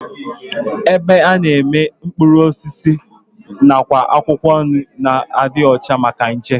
Ebe a na-ere mkpụrụ osisi nakwa akwụkwọ nri na-adị ọcha maka nje